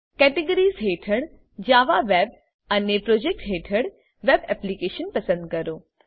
Categoriesહેઠળ Java web અને projects હેઠળ web application પસંદ કરો